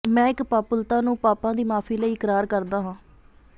ਮੈਂ ਇੱਕ ਪਾਪੂਲਤਾ ਨੂੰ ਪਾਪਾਂ ਦੀ ਮਾਫ਼ੀ ਲਈ ਇਕਰਾਰ ਕਰਦਾ ਹਾਂ